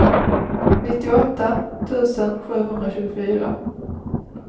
nittioåtta tusen sjuhundratjugofyra